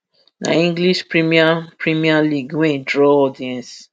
na english premier premier league wey draw audience